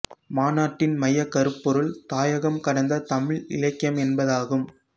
மாநாட்டின் மையக் கருப்பொருள் தாயகம் கடந்த தமிழ் இலக்கியம் என்பதாகும்